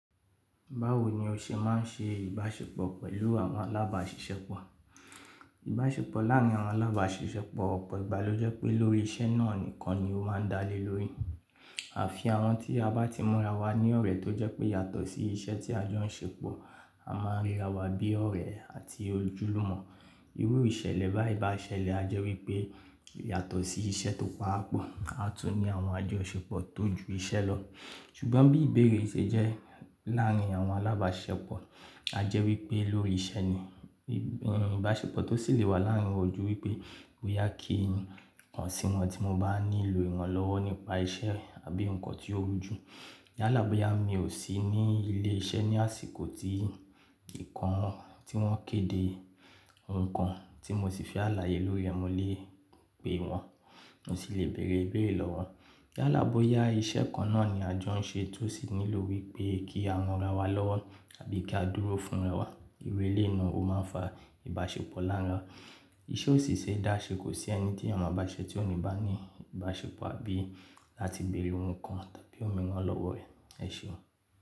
Báwo ní o ṣe máa n ṣe ìbáṣepọ̀ pẹ̀lú àwọn alábáṣiṣẹ́pọ̀? Ìbáṣepọ̀ láàrin àwọn alábáṣiṣẹ́pọ̀ ọ̀pọ̀ ìgbà ló jẹ́ pé lórí isẹ́ náà nìkan ló má n dá lé lórí. Àfi àwọn tí a bá ti múra wa ní ọ̀rẹ́ tó jẹ́ pé yàtọ̀ sí iṣẹ́ tí a jọ ń ṣe pọ̀, a máa ń ríra wa bí ọ̀rẹ́ àti ojúlùmọ̀. Irú ìṣẹ̀lẹ̀ báyìí bá ṣẹlẹ̀ a jẹ́ wípé yàtọ̀ sí iṣẹ́ tó pa wá pọ̀, a tún ní àwọn àjọṣepọ̀ tó ju iṣẹ́ lọ. Ṣùgbọ́n bí ìbéèrè ṣe jẹ́ láàárín àwọn alábáṣepọ̀, a jẹ́ wípé lórí iṣẹ́ ni. Ìbáṣepọ̀ tó sì lè wà láàárín ò jú wípé bóyá kí n kàn sí wọn tí mo bá nílò ìrànlọ́wọ́ nípa iṣẹ́ àbí nǹkan tí ó jù. Yálà bóyá mi ò sí ní ilé iṣẹ́ ní àsìkò tí ìkan tí wọ́n kéde, nǹkan tí mo sì fi àlàyé lórí ẹ, mo lè pè wọ́n, mo sì lè bèèrè ìbéèrè lọ́wọ́ wọn. Yálà bóyá iṣẹ́ kan náà ni a jọ ń ṣe tó sì nílò wípé kí a ranra wa lọ́wọ́ àbí kí a dúró fúnra wa. Irú eléyìí náà ó máa ń fa ìbáṣepọ̀ láàrín wa. Iṣẹ́ ò sì sẹ́ dá ṣẹ kò sí ẹni tí èyán ma báṣe tí òní bá ní ìbáṣepọ̀ àbí láti bèèrè ohun kan tàbí òmìrán lọ́wọ́ ẹ̀. Ẹ seun.